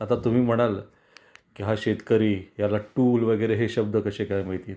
आता तुम्ही म्हणाल की हा शेतकरी याला टूल वैगेरे हे शब्द कशे काय माहिती आहेत.